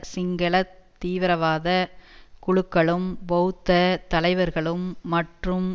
சிங்கள தீவிரவாத குழுக்களும் பெளத்த தலைவர்களும் மற்றும்